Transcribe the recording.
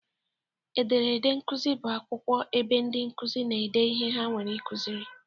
Ederede nkuzi bụ akwụkwọ ebe ndị nkuzi na-ede ihe ha nwere ikuziri